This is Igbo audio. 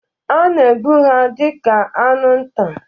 A na-egbu ha dị ka anụ nta.